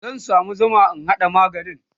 zan samu Zuma in haɗa maganin